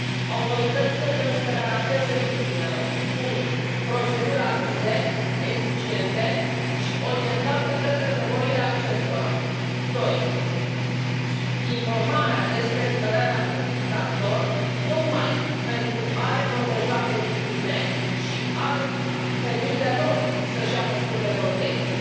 Autoritățile trebuie să garanteze victimelor proceduri rapide, eficiente și orientate către nevoile acestora, în primul rând, și, în al doilea rând, informarea despre eliberarea unui infractor, tocmai pentru a le proteja pe victime și a le permite lor să și ia măsuri de protecție.